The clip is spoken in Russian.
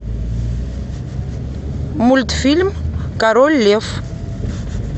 мультфильм король лев